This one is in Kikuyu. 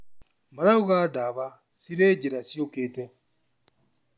Marauga dawa cirĩ njira ciũkĩte